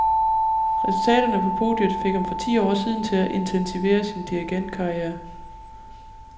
Resultaterne på podiet fik ham for ti år siden til at intensivere sin dirigentkarriere.